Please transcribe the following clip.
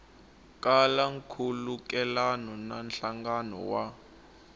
kala nkhulukelano na nhlangano wa